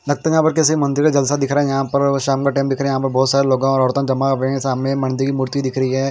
लगता है यहाँ पर किसी मंदिर का जलसा दिख रहा है यहाँ पर और शाम का टाईम दिख रहा है यहाँ पर बोहोत सारे लोग औरत जमा हुयी है मंदिर के सामने --